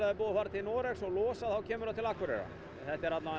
er búið að fara til Noregs og losa kemur það til Akureyrar þetta er allavega